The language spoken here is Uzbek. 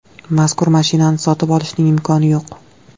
Mazkur mashinani sotib olishning imkoni yo‘q.